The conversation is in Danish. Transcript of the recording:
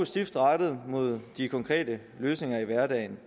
stift rettet mod de konkrete løsninger i hverdagen